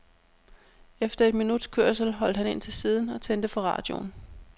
Efter et minuts kørsel holdt han ind til siden og tændte for radioen.